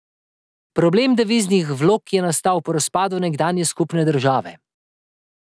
Problem deviznih vlog je nastal po razpadu nekdanje skupne države.